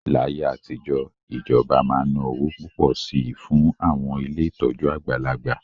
Láyé àtijọ́, ìjọba máa ń ná owó púpọ̀ sí i fún àwọn ilé ìtọ́jú àgbàlagbà